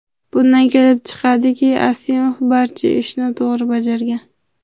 Bundan kelib chiqadiki, Asimov barcha ishni to‘g‘ri bajargan.